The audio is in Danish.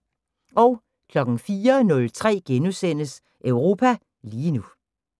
04:03: Europa lige nu *